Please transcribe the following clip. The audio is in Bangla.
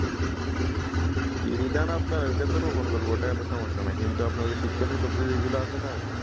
ইরিধান আপনার অইটাতো রোপন করবো অইটা এত সমস্যা না কিন্তু আপনার শীতকালীন সবজিগুলো আছে না?